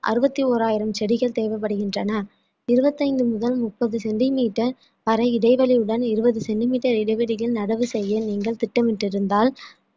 அறுவத்தி ஓராயிரம் செடிகள் தேவைப்படுகின்றன இருபத்தைந்து முதல் முப்பது centimetre பர இடைவெளியுடன் இருபது centimetre இடைவெளியில் நடவு செய்ய நீங்கள் திட்டமிட்டிருந்தால்